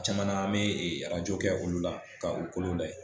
O caman na an bi kɛ olu la ka u kolon lajɛ